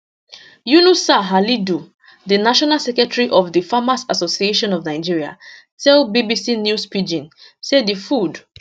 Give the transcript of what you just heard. yunusa halidu di national secretary of di farmers association of nigeria tell bbc news pidgin say di food